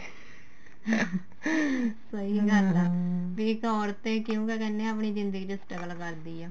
ਸਹੀ ਗੱਲ ਏ ਬੀ ਇੱਕ ਔਰਤ ਏ ਕਿਉਂ ਤਾਂ ਕਹਿਨੇ ਏ ਆਪਣੀ ਜਿੰਦਗੀ ਚ struggle ਕਰਦੀ ਏ